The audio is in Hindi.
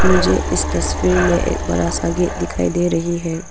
मुझे इस तस्वीर में एक बड़ा सा गेट दिखाई दे रही है।